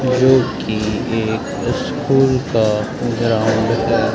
जो की एक स्कूल का ग्राउंड है।